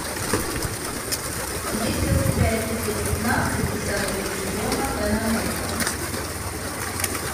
есть ли у тебя эпизод пятнадцать десятого сезона пэн американ